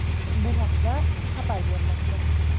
Bu haqda xabar bermoqda.